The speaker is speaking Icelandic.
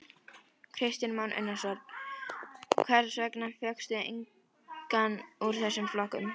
Kristján Már Unnarsson: Hvers vegna fékkstu engan úr þessum flokkum?